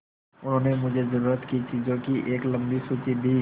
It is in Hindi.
उन्होंने मुझे ज़रूरत की चीज़ों की एक लम्बी सूची दी